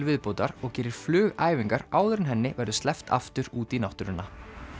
viðbótar og gerir flugæfingar áður en henni verður sleppt aftur út í náttúruna